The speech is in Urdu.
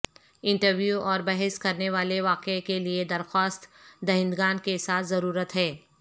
انٹرویو اور بحث کرنے والے واقعہ کے لئے درخواست دہندگان کے ساتھ ضرورت ہے